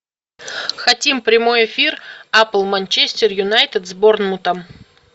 хотим прямой эфир апл манчестер юнайтед с борнмутом